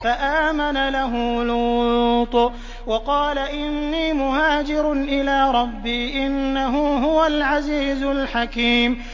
۞ فَآمَنَ لَهُ لُوطٌ ۘ وَقَالَ إِنِّي مُهَاجِرٌ إِلَىٰ رَبِّي ۖ إِنَّهُ هُوَ الْعَزِيزُ الْحَكِيمُ